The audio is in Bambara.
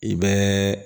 I bɛ